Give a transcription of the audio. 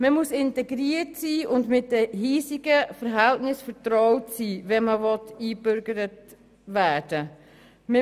Man muss integriert und mit den hiesigen Verhältnissen vertraut sein, wenn man eingebürgert werden will.